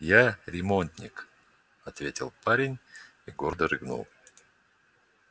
я ремонтник ответил парень и гордо рыгнул